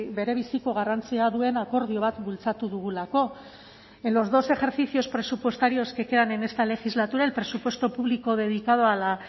berebiziko garrantzia duen akordio bat bultzatu dugulako en los dos ejercicios presupuestarios que quedan en esta legislatura el presupuesto público dedicado a la